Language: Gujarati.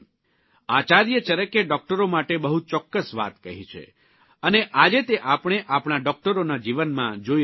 આચાર્ય ચરકે ડૉકટરો માટે બહુ ચોક્કસ વાત કહી છે અને આજે તે આપણે આપણા ડૉકટરોના જીવનમાં જોઇ રહ્યા છીએ